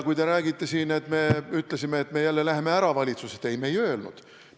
Kui te räägite siin, et me ütlesime, et me jälle läheme valitsusest ära – ei, me ei öelnud.